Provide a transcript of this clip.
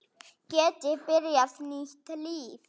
Geti byrjað nýtt líf.